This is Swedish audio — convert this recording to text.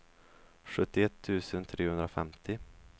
sjuttioett tusen trehundrafemtio